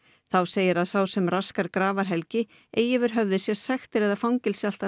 þá segir að sá sem raskar eigi yfir höfði sér sektir eða fangelsi allt að